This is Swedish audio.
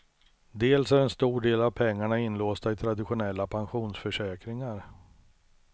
Dels är en stor del av pengarna inlåsta i traditionella pensionförsäkringar.